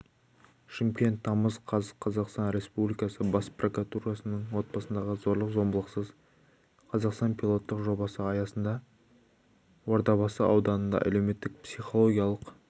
шымкент тамыз қаз қазақстан республикасы бас прокуратурасының отбасындағы зорлық-зомбылықсыз қазақстан пилоттық жобасы аясында ордабасы ауданында әлеуметтік-психологиялық